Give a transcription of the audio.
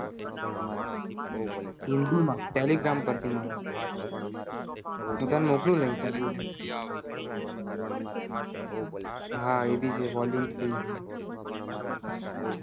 હિન્દી માં telegram પેર થી માં હું ટાણે મોક્લુ link હા એબી છે volume